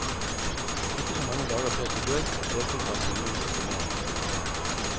Ikke så mange dager før sin død deltok han i en mindre turnering i klubben.